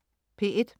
P1: